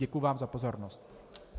Děkuji vám za pozornost.